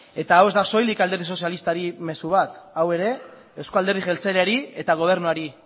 eta hau ez da soilik alderdi sozialistari mezu bat hau ere eusko alderdi jeltzaleari eta gobernuari